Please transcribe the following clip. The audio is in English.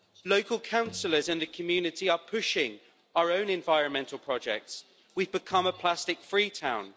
Local councillors and the community are pushing our own environmental projects we have become a plastic-free town.